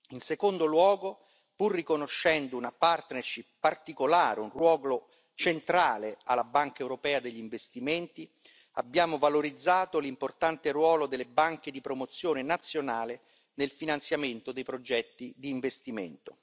In secondo luogo, pur riconoscendo una partnership particolare, un ruolo centrale alla Banca europea degli investimenti, abbiamo valorizzato l'importante ruolo delle banche di promozione nazionale nel finanziamento dei progetti di investimento.